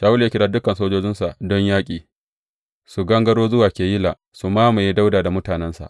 Shawulu ya kira dukan sojojinsa don yaƙi, su gangaro zuwa Keyila su mamaye Dawuda da mutanensa.